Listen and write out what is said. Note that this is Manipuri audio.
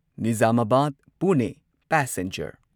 ꯅꯤꯓꯥꯃꯥꯕꯥꯗ ꯄꯨꯅꯦ ꯄꯦꯁꯦꯟꯖꯔ